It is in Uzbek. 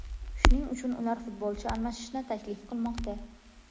shuning uchun ular futbolchi almashishni taklif qilmoqda.